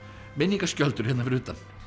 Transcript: minningaskjöldur hér fyrir utan